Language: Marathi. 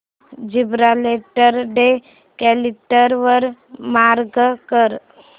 जिब्राल्टर डे कॅलेंडर वर मार्क कर